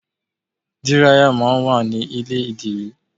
Dírayà máa ń wà ní ilé ìdìrí.